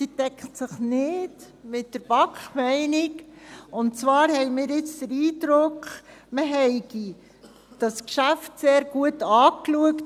Diese deckt sich mit der BaK-Meinung, und zwar haben wir jetzt den Eindruck, man habe das Geschäft sehr gut angeschaut.